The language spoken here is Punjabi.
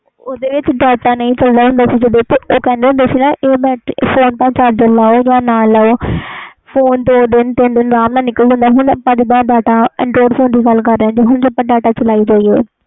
ਓਹਦੇ ਵਿਚ ਨਹੀਂ ਚਲਦਾ ਹੁੰਦਾ ਸੀ ਏ ਫੋਨ charge ਲੋ ਜਾ ਨਾ ਲਵੋ ਫੋਨ ਦੋ ਦਿਨ ਤਿੰਨ ਦਿਨ ਆਰਮ ਨਾਲ ਨਿਕਲ ਜਾਂਦਾ ਸੀ ਹੁਣ ਜੇ data android ਫੋਨ ਦੀ ਗੱਲ ਕਰਦੇ ਆ